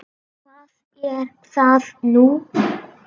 Hvað er það nú?